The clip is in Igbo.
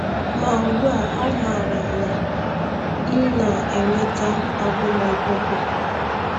Ma ugbu a amaara m na m na-enweta agụmakwụkwọ.